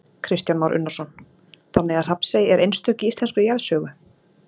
Kristján Már Unnarsson: Þannig að Hrafnsey er einstök í íslenskri jarðsögu?